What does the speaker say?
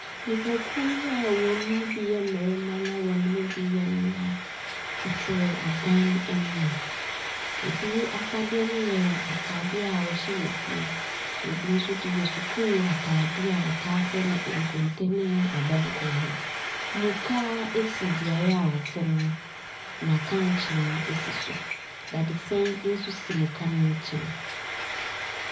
Nnipakuo yi a wɔn mu bi yɛ mmarima na wɔn mu bi yɛ mmea tete ɔdan anim. Ebi afadeɛ no yɛ ataadeɛ a wɔhyɛ no wɔ fie. Na ebi nso deɛ yɛ sukuu ataadeɛ a wɔtaa frɛ no konkonte ne abɛnkwan no. Muka esi beaeɛ a wɔte no. Na kankyee esi so. Dadesɛn nso si muka ne nkyɛn.